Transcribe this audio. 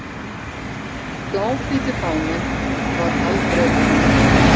Bláhvíti fáninn var haldreipi hennar.